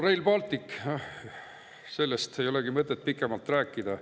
Rail Baltic – sellest ei olegi mõtet pikemalt rääkida.